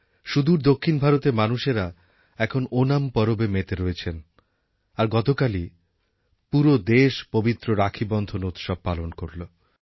সুদূর দক্ষিণ ভারতের মানুষেরা এখন ওনাম পরবে মেতে রয়েছেন আর গতকালই পুরো দেশ পবিত্র রাখীবন্ধন উৎসব পালন করল